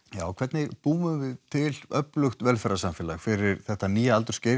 hvernig búum við til öflugt velferðarsamfélag fyrir þetta nýja aldursskeið